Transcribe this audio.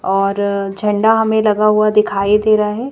और झंडा हमें लगा हुआ दिखाई दे रहा है।